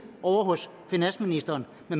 ovre hos finansministeren og